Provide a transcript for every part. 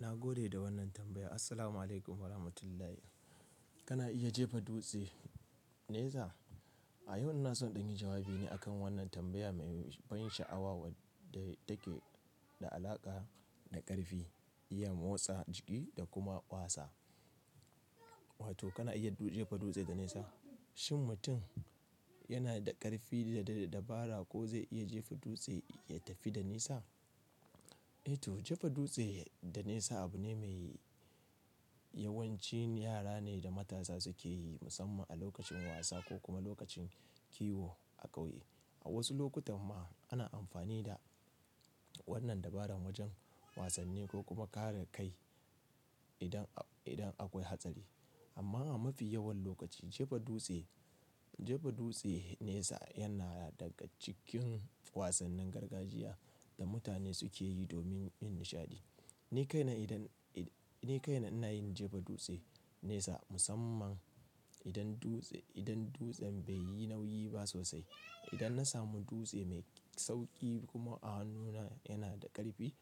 Na gode da wannan tambaya. Assalamualaikum warahmatullahi. Kana iya jefa dutse nesa? A yau ina so in ɗan yi jawabi ne akan wannan tambaya mai ban sha'awa wadda take da alaƙa da ƙarfi, iya motsa jiki da kuma ƙwaza. Wato kana iya jefa dutse da nesa? Shin mutum yana da ƙarfi da dabara ko zai iya jefa dutse ya tafi da nesa? To, jefa dutse da nesa abu ne mai yawancin yara ne da matasa suke yi musamman a lokacin wasa ko kuma lokacin kiwo a ƙauye. A wasu lokutan ma ana amfani da wannan dabaran wajan wasanni ko kuma kare kai idan, idan akwai hatsari. Amma a mafi yawan lokaci jefa dutse, jefa dutse nesa yana daga cikin wasannin gargajiya da mutane suke yi domin yin nishaɗi. Ni kaina idan, ni kaina ina yin jefa dutse nesa musamman idan dutse, idan dutsen bai yi nauyi ba sosai. Idan na samu dutse mai sauƙi kuma a hannuna yana da ƙarfi,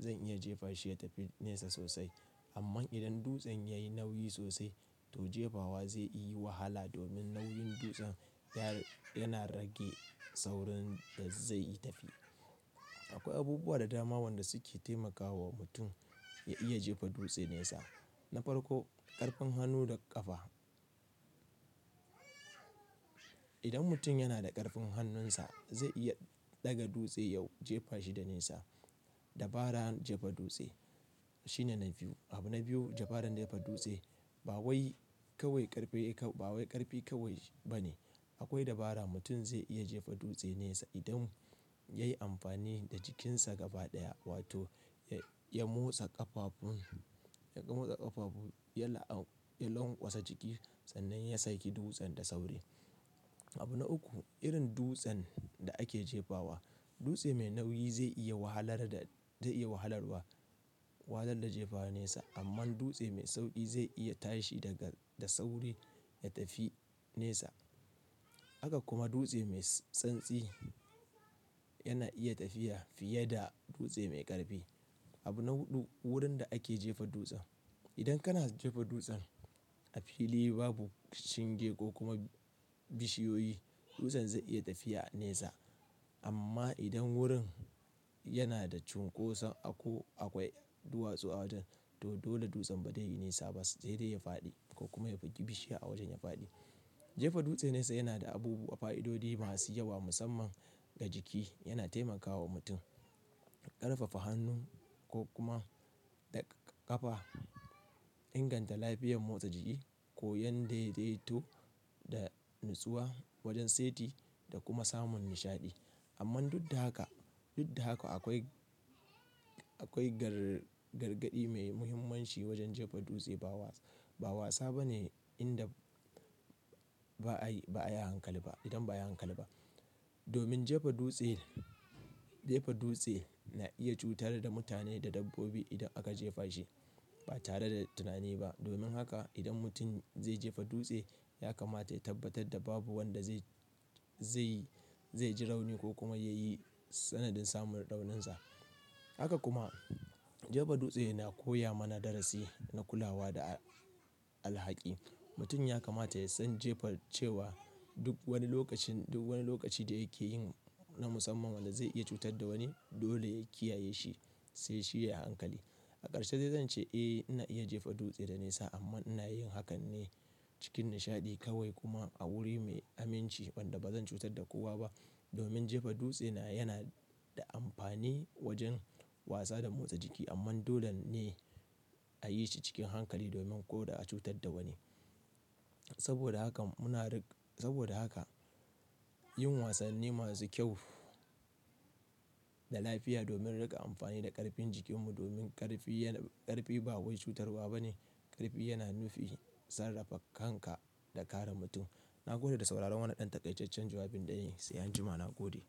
zan iya jefa shi ya tafi nesa sosai. Amman idan dutsen yayi nauyi sosai to jefawa zai iya wahala domin nauyin dutsen ya, yana rage saurin da zai yi tafi. Akwai abubuwa da dama wanda suke taimakawa mutum ya iya jefa dutse nesa. Na farko ƙarfin hannu da ƙafa. Idan mutum yana da ƙarfin hannunsa zai iya ɗaga dutse yau jefa shi da nesa. Dabaran jefa dutse shine na biyu. Abu na biyu dabaran jefa dutse ba wai kawai ƙarfi ka- ba ƙarfi kawai ba ne. Akwai dabara mutum zai iya jefa dutse nesa idan ya yi amfani da jikinsa gaba ɗaya wato ya, ya motsa ƙafafu, ya motsa ƙafafu, ya la'an- ya lonƙwasa jiki sannan ya saki dutsen da sauri. Abu na uku, irin dutsen da ake jefawa. Dutse mai nauyi zai iya wahalar da, zai iya wahalarwa wanda da jefaww nesa amma dutse mai sauƙi zai iya tashi daga, da sauri ya tafi nesa. Haka kuma dutse mai tsantsi yana iya tafiya fiye da dutse mai ƙarfi. Abu na huɗu, wurin da ake jefa dutsen. Idan kana jefa dutsen a fili babu shinge ko kuma bishiyoyi, dutsen zai iya tafiya nesa. Amma idan wurin yana da cunkoso, akwai duwatsu a wajan to dole dutsen ba zai yi nisa ba, sai dai ya faɗi ko kuma ya bugi bishiya a wajan ya faɗi. Jefa dutse nesa yana da abubuwa fa'idodi masu yawa musamman ga jiki. Yana taimaka wa mutum ƙarfafa hannu ko kuma da ƙafa, inganta lafiyar motsa jiki, koyan daidaito da natsuwa wajan saiti da kuma samun nishaɗi. Amman duk da haka, duk da haka akwai, akwai gar- gargaɗi mai muhimmanci wajan jefa dutse. Ba wa- ba wasa bane inda ba ayi, ba ayi hankali ba, idan ba ayi a hankali ba. Domin jefa dutse, jefa dutse na iya cutar da mutane da dabbobi idan aka jefa shi ba tare da tunani ba. Domin haka idan mutum zai jefa dutse yakamata ya tabbatar da babu wanda zai, zai, zai ji rauni ko kuma yayi sanadin samun rauninsa. Haka kuma jefa dutse na koya mana darasi na kulawa da alhaki. Mutum yakamata ya san jefa cewa duk wani lokacin, duk wani lokaci da yake yin na musamman wanda zai iya cutar da wani dole ya kiyaye shi, sai shi yayi hankali. A ƙarshe dai zan ce eh ina iya jefa dutse da nesa amma ina yin hakan ne cikin nishaɗi kawai kuma a wuri mai aminci wanda ba zan cutar da kowa ba. Domin jefa dutse na yana da amfani wajan wasa da motsa jiki amma dole ne a yi shi cikin hankali domin ko da a cutar da wani. Saboda haka muna riƙ- saboda haka yin wasanni masu kyau da lafiya domin riƙa amfani da ƙarfin jikinmu domin ƙarfi yana, ƙarfi ba wai cutarwa bane. Ƙarfi yana nufij sarrafa kanka da kare mutum. Na gode da sauraron wannan ɗan taƙaicaccen jawabin ɗin. Sai anjma na gode.